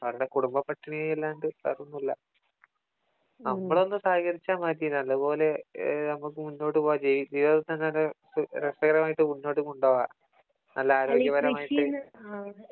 അവരുടെ കുടുംബം പട്ടിണി ആയല്ലാണ്ടു വേറെ ഒന്നുമില്ല നമ്മളൊന്നു സഹകരിച്ചാൽ മതി നല്ലത് പോലെ നമുക്ക് മുന്നോട്ട് പോക ജീവിതം തന്നെ രസകരമായിട്ട് മുന്നോട്ട് കൊണ്ട് പോക നല്ല ആരോഗ്യപരമായിട്ട്